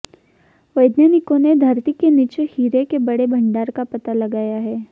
वैज्ञानिकों ने धरती के नीचे हीरे के बड़े भंडार का पता लगाया है